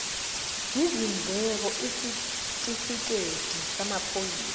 izindleko isitifikedi samaphoyisa